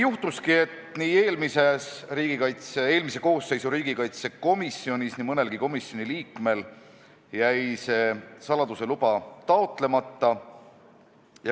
Juhtuski, et eelmise koosseisu riigikaitsekomisjonis jäi nii mõnelgi komisjoni liikmel see saladuse luba taotlemata.